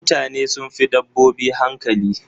Mutane sun fi dabbobi hankali.